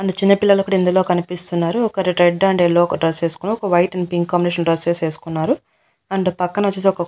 And చిన్న పిల్లలు కూడా ఇందులో కనిపిస్తున్నారు. ఒకరు రెడ్ అండ్ యెల్లో డ్రెస్ వేసుకొని ఒక వైట్ అండ్ పింక్ కాంబినేషన్ లో డ్రెస్సెస్ ఏసుకున్నారు అండ్ పక్కనొచ్చేసి ఒక --